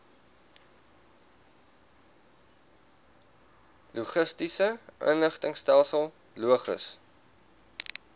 logistiese inligtingstelsel logis